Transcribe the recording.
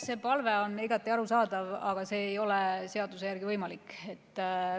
See palve on igati arusaadav, aga see ei ole seaduse järgi võimalik.